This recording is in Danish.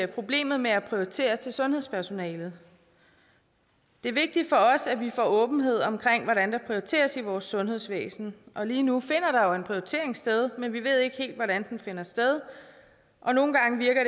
problemet med at prioritere til sundhedspersonalet det er vigtigt for os at vi får åbenhed om hvordan der prioriteres i vores sundhedsvæsen og lige nu finder der jo en prioritering sted men vi ved ikke helt hvordan den finder sted og nogle gange virker